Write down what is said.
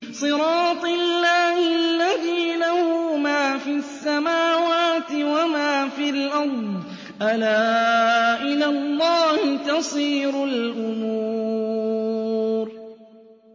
صِرَاطِ اللَّهِ الَّذِي لَهُ مَا فِي السَّمَاوَاتِ وَمَا فِي الْأَرْضِ ۗ أَلَا إِلَى اللَّهِ تَصِيرُ الْأُمُورُ